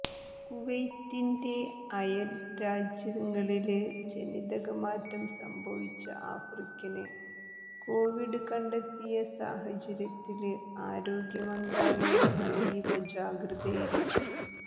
കുവൈത്തിന്റെ അയല് രാജ്യങ്ങളില് ജനിതകമാറ്റം സംഭവിച്ച ആഫ്രിക്കന് കോവിഡ് കണ്ടെത്തിയ സാഹചര്യത്തില് ആരോഗ്യ മന്ത്രാലയം അതീവ ജാഗ്രതയില്